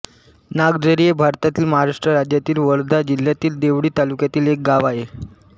नागझरी हे भारतातील महाराष्ट्र राज्यातील वर्धा जिल्ह्यातील देवळी तालुक्यातील एक गाव आहे